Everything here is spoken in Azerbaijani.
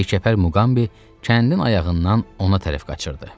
Yekəpər Muqambi kəndin ayağından ona tərəf qaçırdı.